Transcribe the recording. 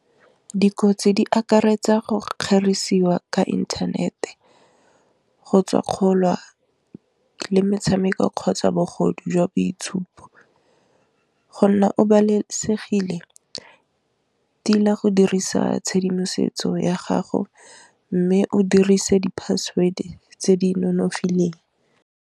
Dikotsi di akaretsa go kgerisiwa ka inthanete go tswa kgolwa le metshameko kgotsa bogodu jwa boitshupo, go nna o babalesegile di la go dirisa tshedimosetso ya gago, mme o dirisa di-password tse di nonofileng.